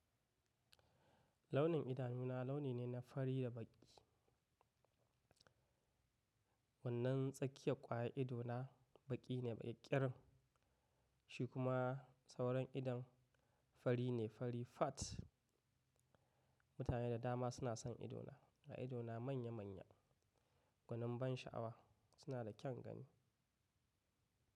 Launin idanu na launi ne na fari da baƙi. Wannan tsakiyar ƙwayar ido na baƙi ne baƙi ƙirin. Shi kuma sauran idon fari ne fari fat. Mutane da dama suna son ido na, ga ido na manya manya, gwanin ban sha'awa suna da kyan gani.